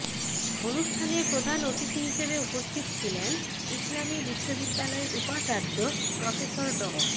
অনুষ্ঠানে প্রধান অতিথি হিসেবে উপস্থিত ছিলেন ইসলামী বিশ্ববিদ্যালয়ের উপাচার্য প্রফেসর ড